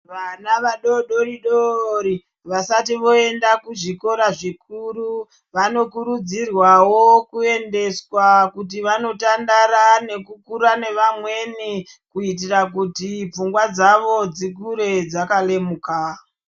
Vana vadoodori-dorii vasati voenda kuzvikora zvikuru, vanokurudzirwawo kuendeswa kuti vanotandara nekukura nevamweni. Kuitira kuti pfungwa dzavo dzikure dzakalemuka.